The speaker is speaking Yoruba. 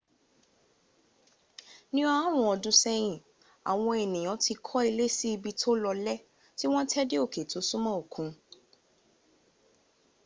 ní ọarun ọdún sẹ́yìn àwọn ènìyàn ti kọ́ ilé sí ibi tó lọlẹ́ tí wọ́n tẹ́ dé òké tó súmọ́ òkun